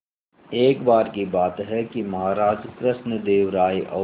एक बार की बात है कि महाराज कृष्णदेव राय और